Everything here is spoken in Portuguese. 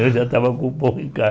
Eu já estava com o pão em